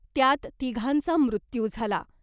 त्यात तिघांचा मृत्यू झाला .